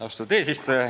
Austatud eesistuja!